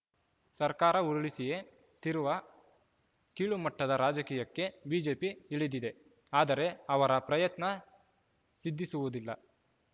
ಸರ್ಕಾರ ಉರುಳಿಸಿಯೇ ತೀರುವ ಕೀಳುಮಟ್ಟದ ರಾಜಕೀಯಕ್ಕೆ ಬಿಜೆಪಿ ಇಳಿದಿದೆ ಆದರೆ ಅವರ ಪ್ರಯತ್ನ ಸಿದ್ಧಿಸುವುದಿಲ್ಲ